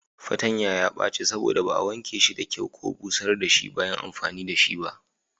Fatanya ya baci saboda ba a wanke shi da kyau ko busar da shi bayan amfani da shi ba.